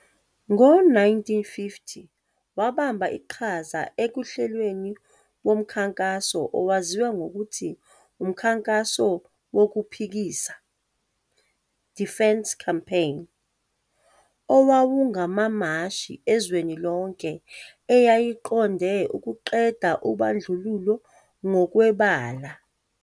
Ngo-1950 wabamba iqhaza ekuhlelweni womkhankaso owaziwa ngokuthi umKhankaso woKuphikisa, Defiance Campaign, owawungamamashi ezweni lonke eyayiqonde ukuqeda ubandlululo ngokwebala.